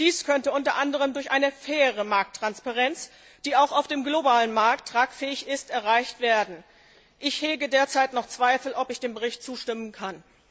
Dies könnte unter anderem durch eine faire Markttransparenz, die auch auf dem globalen Markt tragfähig ist, erreicht werden. Ich hege derzeit noch Zweifel, ob ich dem Bericht zustimmen kann.